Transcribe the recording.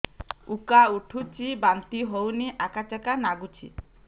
ଉକା ଉଠୁଚି ବାନ୍ତି ହଉନି ଆକାଚାକା ନାଗୁଚି